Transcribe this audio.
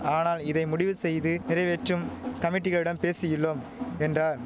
ஆனால் இதை முடிவு செய்து நிறைவேற்றும் கமிட்டிகளிடம் பேசியுள்ளோம் என்றார்